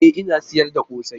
E! Ina sayar da kose.